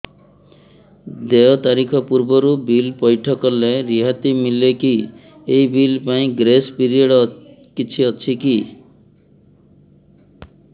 ଦେୟ ତାରିଖ ପୂର୍ବରୁ ବିଲ୍ ପୈଠ କଲେ ରିହାତି ମିଲେକି ଏହି ବିଲ୍ ପାଇଁ ଗ୍ରେସ୍ ପିରିୟଡ଼ କିଛି ଅଛିକି